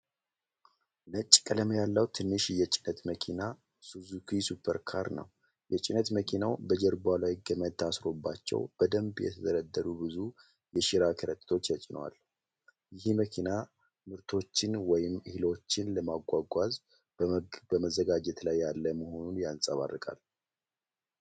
ነጭ ቀለም ያለው ትንሽ የጭነት መኪና (ሱዙኪ ሱፐር ካሪ) ነው። የጭነት መኪናው በጀርባው ላይ ገመድ ታስሮባቸው በደንብ የተደረደሩ ብዙ የሸራ ከረጢቶች ተጭነዋል። ይህ መኪና ምርቶችን ወይም እህሎችን ለማጓጓዝ በመዘጋጀት ላይ ያለ መሆኑን ያንጸባርቃል።